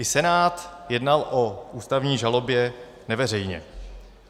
I Senát jednal o ústavní žalobě neveřejně.